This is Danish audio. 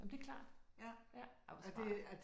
Jamen det er klart. Ja ej hvor smart